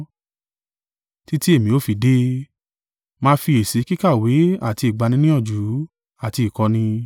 Títí èmi ó fi dé, máa fiyèsí kíkàwé àti ìgbaniníyànjú àti ìkọ́ni.